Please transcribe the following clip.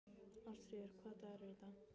Ástfríður, hvaða dagur er í dag?